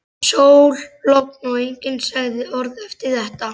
Sól, logn og enginn sagði orð eftir þetta.